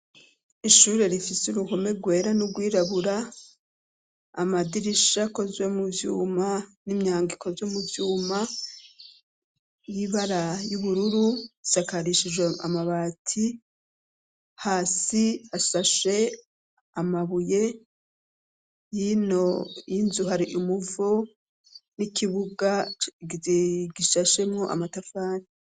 Ishure rifise uruhome rwera n'urwirabura, amadirisha akozwe mu vyuma n'imyango ikozwe mu vyuma y'ibara y'ubururu, risakarishijwe amabati, hasi hasashe amabuye hino y'inzu, hari umuvo n'ikibuga gishashemwo amatafari.